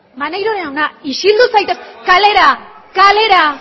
maneiro jauna isildu zaitez kalera kalera